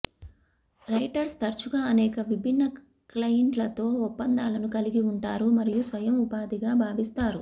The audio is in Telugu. రైటర్స్ తరచుగా అనేక విభిన్న క్లయింట్లతో ఒప్పందాలను కలిగి ఉంటారు మరియు స్వయం ఉపాధిగా భావిస్తారు